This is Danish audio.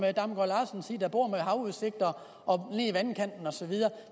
bor med havudsigt og lige ved vandkanten og så videre